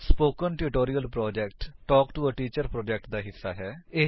spoken tutorial project talk to a teacher project ਦਾ ਹਿੱਸਾ ਹੈ